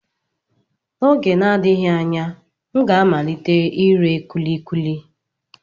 N'oge na-adịghị anya, m ga-amalite ire kulikuli.